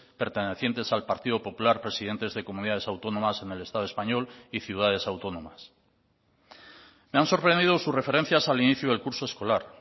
pertenecientes al partido popular presidentes de comunidades autónomas en el estado español y ciudades autónomas me han sorprendido sus referencias al inicio del curso escolar